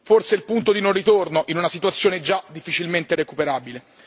Forse è il punto di non ritorno in una situazione già difficilmente recuperabile.